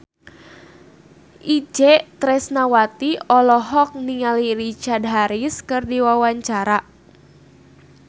Itje Tresnawati olohok ningali Richard Harris keur diwawancara